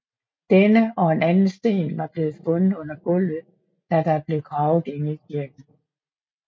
Denne og en anden sten var blevet fundet under gulvet da der blev gravet inde i kirken